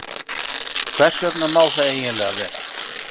Hvers vegna má það eiginlega vera?